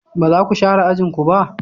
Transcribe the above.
Ba za ku share ajin ku ba?